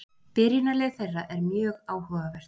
Byrjunarlið þeirra er mjög áhugavert.